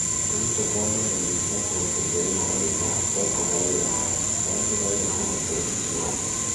Kũrutwo kwa mahĩndĩ no kũhoteke rĩmwe kwa rĩmwe (to kũgaĩrũo) kana kũgaĩrũo kuuma kũrĩ mũciari.